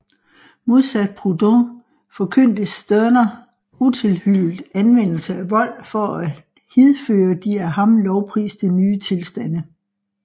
Modsat Proudhon forkyndte Stirner utilhyllet anvendelse af vold for at hidføre de af ham lovpriste ny tilstande